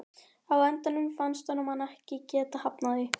Á endanum fannst honum hann ekki geta hafnað því.